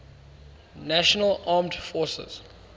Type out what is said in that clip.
national armed forces